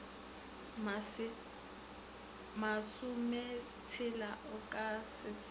masometshela o ka se sa